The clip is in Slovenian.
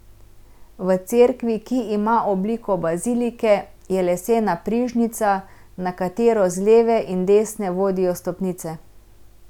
V cerkvi, ki ima obliko bazilike, je lesena prižnica, na katero z leve in desne vodijo stopnice.